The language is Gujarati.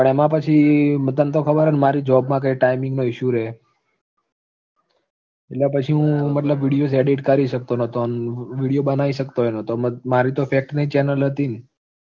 પણ એમાં પછી તને તો ખબર છે ને મારી job માં timing નો issue રે એટલે પછી હું મતલબ videos edit કરી શકતો નતો, video બનાઈ શકતો ય નતો મારે તો fact ની channel હતી ન